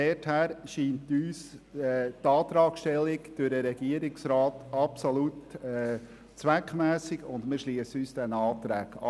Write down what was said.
Deshalb scheinen uns die vom Regierungsrat gestellten Anträge absolut zweckmässig, und wir schliessen uns ihnen an.